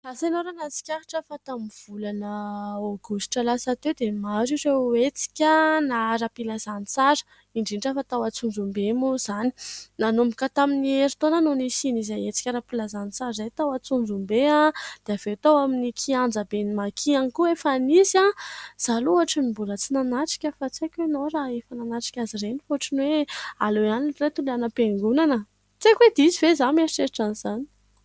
Asa ianao raha nahatsikaritra fa tamin'ny volana Aogositra lasa teo dia maro ireo hetsika na aram-pilazantsara indrindra fa tao Antsonjombe moa izany. Nanomboka tamin'ny herintaona no nisian' izay hetsika aram-pilazantsara izay tao Antsonjombe, dia avy eo tao amin'ny kianjiben'ny maki ihany koa efa nisy. Izaho aloha hoatran'ny mbola tsy nanatrika fa tsy haiko ianao raha efa nanatrika azy ireny, fa hoatran'ny hoe aleo ihany reto ilay any ampiangonana ! tsy haiko hoe diso ve izaho mieritreritra an'izany.